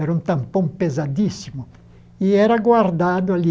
Era um tampão pesadíssimo e era guardado ali